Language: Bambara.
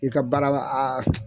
I ka baara ba aa